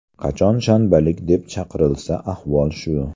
Qachon shanbalik deb chaqirilsa, ahvol shu.